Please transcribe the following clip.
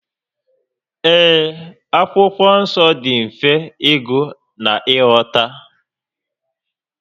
Ee, Akwụkwọ Nsọ dị mfe ịgụ na ị ghọta